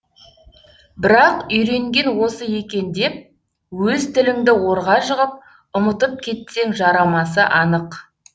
бірақ үйренген осы екен деп өз тіліңді орға жығып ұмытып кетсең жарамасы анық